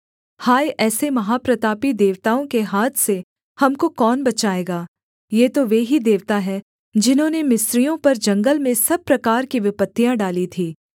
हाय ऐसे महाप्रतापी देवताओं के हाथ से हमको कौन बचाएगा ये तो वे ही देवता हैं जिन्होंने मिस्रियों पर जंगल में सब प्रकार की विपत्तियाँ डाली थीं